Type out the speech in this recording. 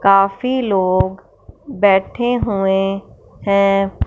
काफी लोग बैठे हुए हैं।